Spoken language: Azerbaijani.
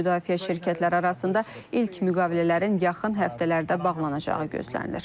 Müdafiə şirkətləri arasında ilk müqavilələrin yaxın həftələrdə bağlanacağı gözlənilir.